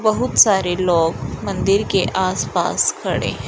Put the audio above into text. बहुत सारे लोग मंदिर के आसपास खड़े है।